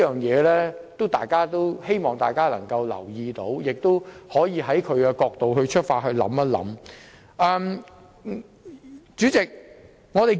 因此，我希望大家留意，並嘗試從他的角度出發和思考。